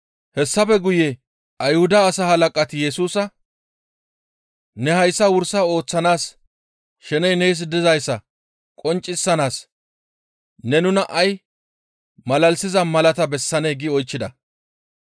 Hessafe guye Ayhuda asaa halaqati Yesusa, «Ne hayssa wursa ooththanaas sheney nees dizayssa qonccisanaas ne nuna ay malalisiza malata bessanee?» gi oychchida.